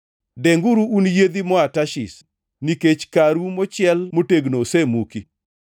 Denguru un yiedhi moa Tarshish, nikech karu mochiel motegno osemuki!